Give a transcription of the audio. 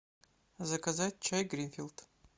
заказать чай гринфилд